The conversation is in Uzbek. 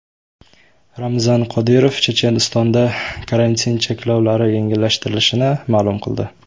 Ramzan Qodirov Chechenistonda karantin cheklovlari yengillashtirilishini ma’lum qildi.